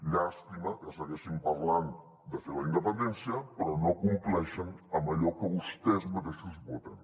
llàstima que segueixin parlant de fer la independència però no compleixen amb allò que vostès mateixos voten